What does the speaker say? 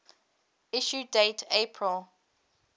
issue date april